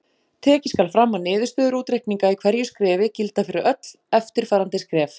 Tekið skal fram að niðurstöður útreikninga í hverju skrefi gilda fyrir öll eftirfarandi skref.